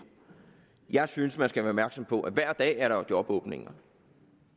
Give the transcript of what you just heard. jeg synes at man skal være opmærksom på at hver dag er der jobåbninger